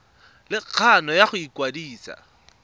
le kgano ya go ikwadisa